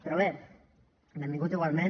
però bé benvingut igualment